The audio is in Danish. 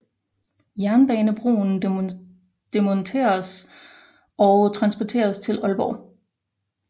Jernbanebroen demonteres og transporteres til Aalborg